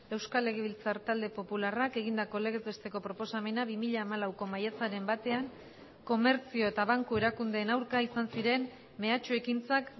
euskal legebiltzar talde popularrak egindako legez besteko proposamena bi mila hamalauko maiatzaren batean komertzio eta banku erakundeen aurka izan ziren mehatxu ekintzak